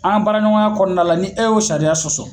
Anga baraɲɔgɔnya kɔnɔna la ni e y'o sariya sɔsɔ